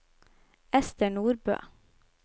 Esther Nordbø